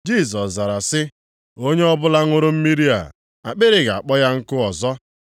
Jisọs zara sị, “Onye ọbụla ṅụrụ mmiri a, akpịrị ga-akpọ ya nkụ ọzọ.